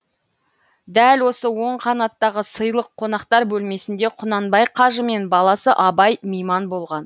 дәл осы оң қанаттағы сыйлы қонақтар бөлмесінде құнанбай қажы мен баласы абай мейман болған